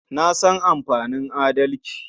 Na san amfanin adalci.